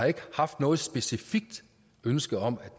haft noget specifikt ønske om at